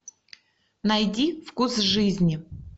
найди вкус жизни